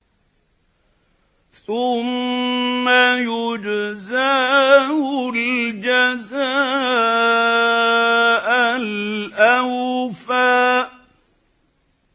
ثُمَّ يُجْزَاهُ الْجَزَاءَ الْأَوْفَىٰ